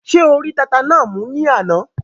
Ṣé o rí tata náà mú ní àná?